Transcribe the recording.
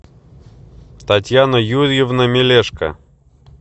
татьяна юрьевна мелешко